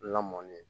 Lamɔn de